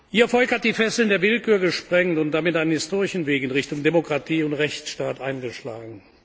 Ihr Volk hat die Fesseln der Willkür gesprengt und damit einen historischen Weg in Richtung Demokratie und Rechtsstaat eingeschlagen.